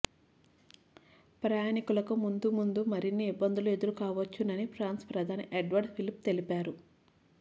ప్రయాణీకులకు ముందుముందు మరిన్ని ఇబ్బందులు ఎదురుకావచ్చునని ఫ్రాన్స్ ప్రధాని ఎడ్వర్డ్ ఫిలిప్ తెలిపారు